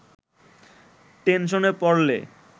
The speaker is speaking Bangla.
টেনশনে পড়লে